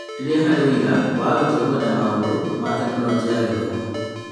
Rĩrĩa harĩ ũira wa arutwo kwenda maũndũ ma Tekinoronjĩ ya Gĩthomo,